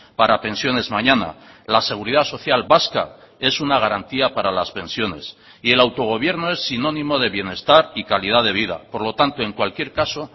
para pensiones mañana la seguridad social vasca es una garantía para las pensiones y el autogobierno es sinónimo de bienestar y calidad de vida por lo tanto en cualquier caso